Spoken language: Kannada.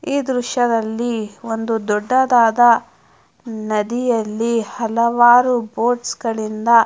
ಈ ದೃಶ್ಯದಲ್ಲಿ ಒಂದು ದೊಡ್ಡದಾದ ನದಿಯಲ್ಲಿ ಹಲವಾರು ಬೋಟ್ಸ್ ಗಳಿಂದಾ --